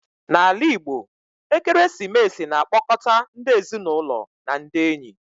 Na ala Igbo, ekeresimesi na akpọkọta ndi ezinụlọ na ndị enyi